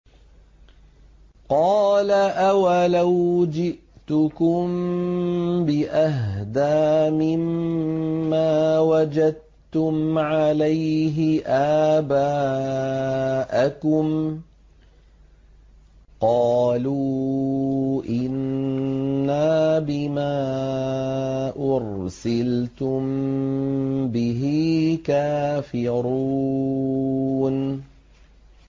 ۞ قَالَ أَوَلَوْ جِئْتُكُم بِأَهْدَىٰ مِمَّا وَجَدتُّمْ عَلَيْهِ آبَاءَكُمْ ۖ قَالُوا إِنَّا بِمَا أُرْسِلْتُم بِهِ كَافِرُونَ